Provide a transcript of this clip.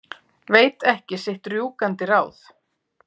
Veit ekki sitt rjúkandi ráð.